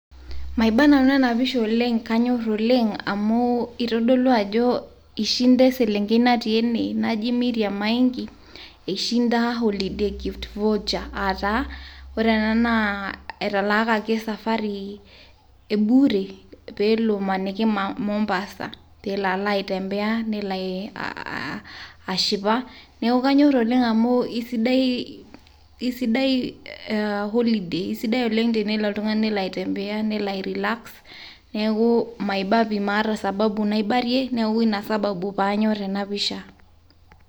maiba nanu ena pisha oleng ,kanyor oleng amu itodolu ajo ishinda eselenkei natii ene naji Mirriam Maingi , ishinda holiday gift voucher. ataa ore enaa naa etaalakaki esafari e bure pelo amaniki Mombasa . pelo alo aitembea, nelo alo ashipa . niaku kanyor oleng amu isidai holiday isidai tenelo oltungani , nelo aitembea , nelo ae relax. neeku maiba pi , maata sababu naibarie ,niaku ina sababu panyor ena pisha.